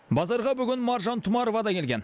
базарға бүгін маржан тұмарова да келген